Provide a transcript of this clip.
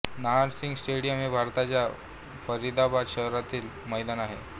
Nahar Singh stadium हे भारताच्या फरिदाबाद शहरातील एक मैदान आहे